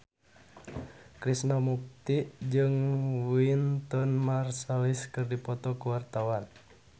Krishna Mukti jeung Wynton Marsalis keur dipoto ku wartawan